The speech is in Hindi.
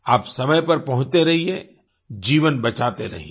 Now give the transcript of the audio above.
आप समय पर पहुँचते रहिये जीवन बचाते रहिये